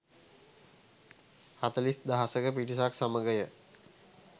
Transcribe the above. හතළිස් දහසක පිරිසක් සමගය.